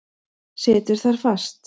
Situr þar fast.